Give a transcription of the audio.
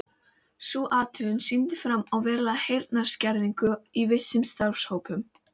Sú athugun sýndi fram á verulega heyrnarskerðingu í vissum starfshópum.